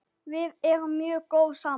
Við erum mjög góð saman.